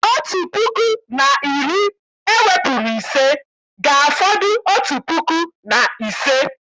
Otu puku na iri ewepụrụ ise, ga-afọdụ otu puku na ise